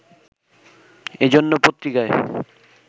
এ জন্য পত্রিকায়